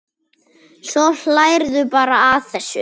Svo hlærðu bara að þessu!